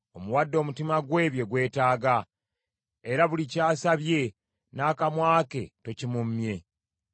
Omuwadde omutima gwe bye gwetaaga, era buli ky’asabye n’akamwa ke tokimummye.